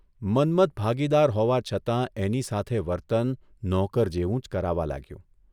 મન્મથ ભાગીદાર હોવા છતાં એની સાથે વર્તન નોકર જેવું જ કરાવા લાગ્યું.